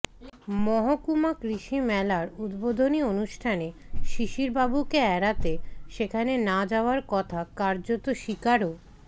মহকুমা কৃষি মেলার উদ্বোধনী অনুষ্ঠানে শিশিরবাবুকে এড়াতে সেখানে না যাওয়ার কথা কার্যত স্বীকারও